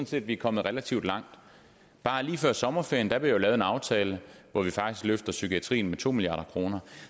set vi er kommet relativt langt bare lige før sommerferien blev jo lavet en aftale hvor vi faktisk løfter psykiatrien med to milliard kroner